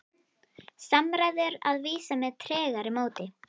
Samræður að vísu með tregara móti.